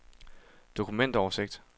dokumentoversigt